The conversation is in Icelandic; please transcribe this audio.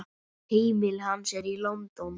Heimili hans er í London.